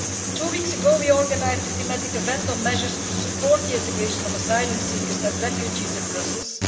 Two weeks ago we organised a thematic event on measures to support the integration of asylum seekers and refugees in Brussels.